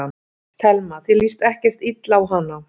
Telma: Þér líst ekkert illa á hana?